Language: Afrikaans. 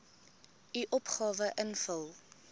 u opgawe invul